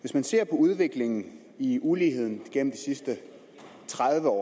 hvis man ser på udviklingen i uligheden gennem de sidste tredive år